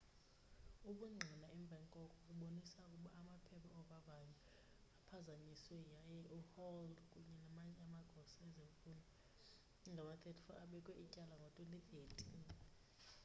ubungqina emva koko babonisa ukuba amaphepha ovavanyo aphazanyiswe yaye uhall kunye namanye amagosa ezemfundo angama-34 abekwa ityala ngo-2013